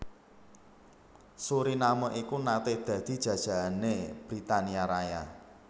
Suriname iku naté dadi jajahané Britania Raya